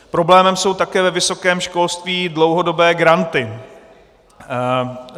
Problémem jsou také ve vysokém školství dlouhodobé granty.